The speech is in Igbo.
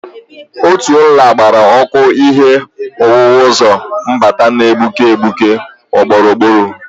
Otu nla gbara ọkụ ihe owuwu ụzọ mbata na-egbuke egbuke gburugburu.